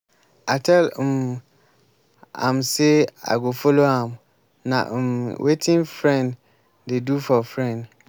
i tell um am say i go follow am. na um wetin friend dey do for friend.